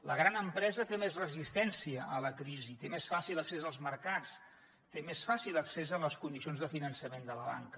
la gran empresa té més resistència a la crisi té més fàcil accés als mercats té més fàcil accés a les condicions de finançament de la banca